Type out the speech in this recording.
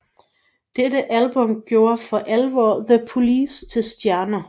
Dette album gjorde for alvor The Police til stjerner